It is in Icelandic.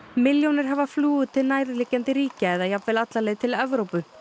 milljónir hafa flúið til nærliggjandi ríkja eða jafnvel alla leið til Evrópu